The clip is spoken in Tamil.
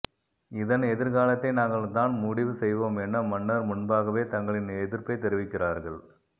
இதன் எதிர்காலத்தை நாங்கள் தான் முடிவு செய்வோம் என மன்னர் முன்பாகவே தங்களின் எதிர்ப்பை தெரிவிக்கிறார்கள்